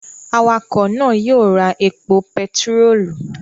Awakọ̀ náà yóò ra epo pẹtirólù